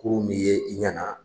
Kurun be ye i ɲana